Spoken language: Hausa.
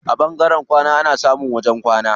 A ɓangaren kwana ana samun wajen wanka.